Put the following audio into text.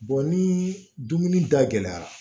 ni dumuni dayɛlɛra